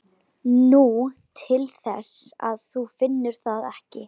Nú, til þess að þú finnir það ekki.